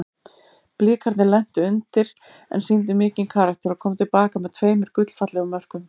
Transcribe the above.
Blikarnir lentu undir en sýndu mikinn karakter og komu til baka með tveimur gullfallegum mörkum.